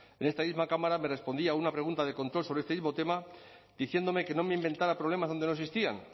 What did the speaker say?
en esta misma cámara me respondía a una pregunta de control sobre este mismo tema diciéndome que no me inventara problemas donde no existían